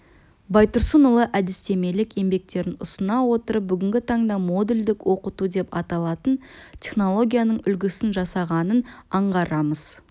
байтұрсынұлы әдістемелік еңбектерін ұсына отырып бүгінгі таңда модульдік оқыту деп аталатын технологияның үлгісін жасағанын аңғарамыз